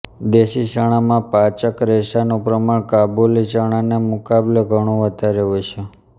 દેશી ચણામાં પાચક રેશાનું પ્રમાણ કાબુલી ચણાને મુકાબલે ઘણું વધારે હોય છે